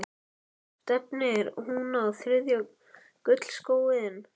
Stefnir hún á þriðja gullskóinn?